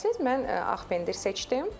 Mən ağ pendir seçdim.